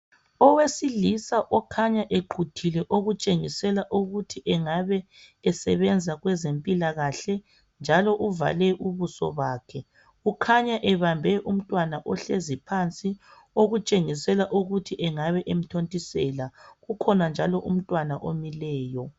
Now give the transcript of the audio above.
Owesilisa okhanya equthile okutshengisela ukuthi engabe esebenza kwezempilakahle njalo uvale ubuso bakhe ukhanya ebambe umntwana ohlezi phansi okutshengisela ukuthi engabe emthontisela kukhona njalo umntwana omileyo